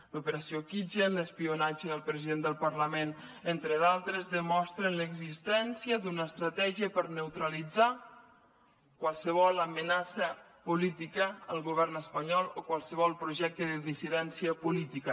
l’operació kitchen l’espionatge al president del parlament entre d’altres demostren l’existència d’una estratègia per neutralitzar qualsevol amenaça política al govern espanyol o qualsevol projecte de dissidència política